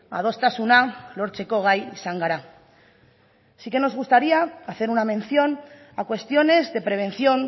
adostasuna lortzeko gai izan gara sí que nos gustaría hacer una mención a cuestiones de prevención